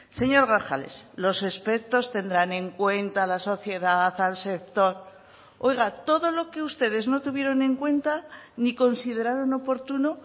señor grajales los expertos tendrán en cuenta la sociedad al sector oiga todo lo que ustedes no tuvieron en cuenta ni consideraron oportuno